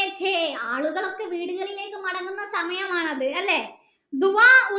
ആളുകളൊക്കെ വീടുകളിലേക്ക് മടങ്ങുന്ന സമയമാണത് അല്ലെ